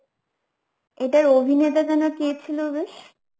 এর অভিনেতা যেন কে ছিল বেশ?